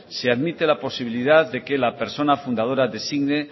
se admite la posibilidad de que la persona fundadora designe